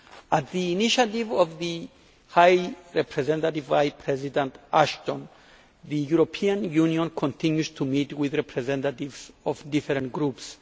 On the initiative of the High Representative Vice President Ashton, the European Union continues to meet with representatives of different groups.